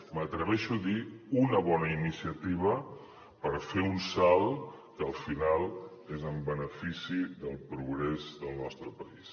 m’atreveixo a dir una bona iniciativa per fer un salt que al final és en benefici del progrés del nostre país